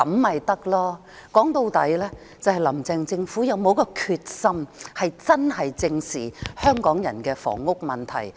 說到底，就是"林鄭"的政府是否有這決心，認真正視香港人的房屋問題。